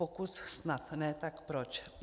Pokud snad ne, tak proč?